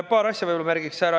Paar asja võib-olla märgin ära.